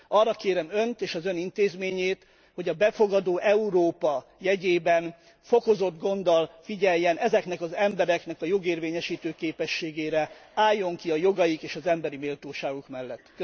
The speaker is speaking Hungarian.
Arra kérem Önt és az Ön intézményét, hogy a befogadó Európa jegyében fokozott gonddal figyeljen ezeknek az embereknek a jogérvényesítő képességére, álljon ki a jogaik és az emberi méltóságuk mellett!